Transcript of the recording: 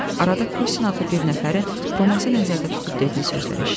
Arada Kosin adlı bir nəfərin Roması nəzərdə tutub dediyi sözlər eşitdim.